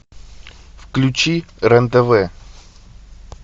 включи рен тв